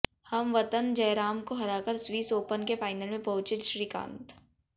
हमवतन जयराम को हराकर Swiss Open के फाइनल में पहुंचे श्रीकांत